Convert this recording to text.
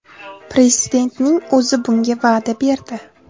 Prezidentning o‘zi bunga va’da berdi.